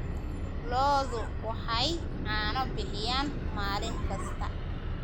Lo'du waxay caano bixiyaan maalin kasta.